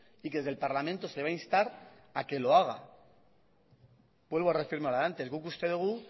y que desde el parlamento se le va a instar a que lo haga vuelvo a reafirmar lo de antes guk uste dugu